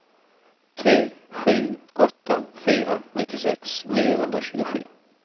tre sju åtta fyra nittiosex niohundratjugosju